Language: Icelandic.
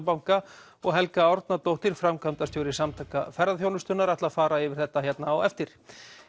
banka og Helga Árnadóttir framkvæmdastjóri Samtaka ferðaþjónustunnar fara yfir þetta hér á eftir